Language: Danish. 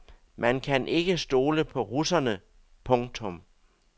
Man kan ikke stole på russerne. punktum